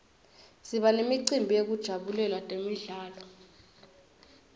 siba nemicimbi yekujabulela temidlalo